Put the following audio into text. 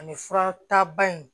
Ani fura taba in